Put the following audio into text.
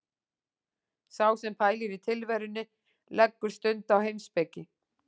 Sá sem pælir í tilverunni leggur stund á heimspeki.